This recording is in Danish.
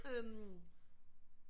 Øh